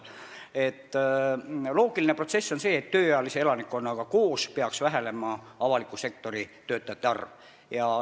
Loogiline protsess on see, et tööealise elanikkonna vähenemisega koos peaks vähenema avaliku sektori töötajate arv.